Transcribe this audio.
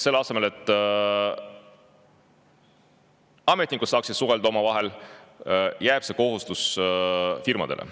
Selle asemel et ametnikud saaksid omavahel suhelda, jääb see kohustus firmadele.